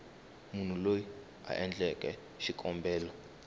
munhu loyi a endleke xikombelo